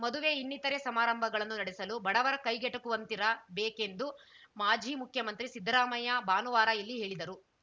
ಮದುವೆ ಇನ್ನೀತರೆ ಸಮಾರಂಭಗಳನ್ನು ನಡೆಸಲು ಬಡವರ ಕೈಗೆಟಕುವಂತಿರ ಬೇಕೆಂದು ಮಾಜಿ ಮುಖ್ಯಮಂತ್ರಿ ಸಿದ್ದರಾಮಯ್ಯ ಭಾನುವಾರ ಇಲ್ಲಿ ಹೇಳಿದರು